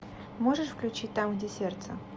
можешь включить там где сердце